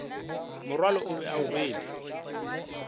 morwalo o be o rwelwe